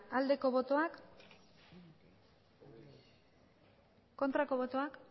aldeko botoak aurkako botoak